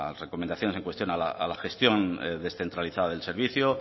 recomendaciones en cuestión a la gestión descentralizada del servicio